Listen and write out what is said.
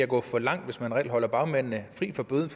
gå for langt hvis man reelt holder bagmændene fri for bøden